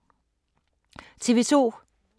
TV 2